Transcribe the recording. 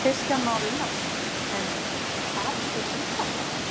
Kristján Már Unnarsson: En hafið þið undan?